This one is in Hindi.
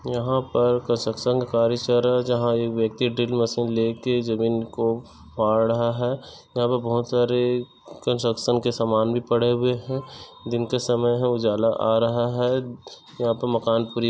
यहाँ पर का कसकसंग कार्य चल रहा है जहाँ ये व्यक्ति ड्रिलमशीन लेके जमीन को पहाड़ रहा है यहाँ पे बोहोत सारे कंस्ट्रक्शन के समान भी पड़े हुए है दिन का समय है उजाला आ रहा है यहाँ पर मकान---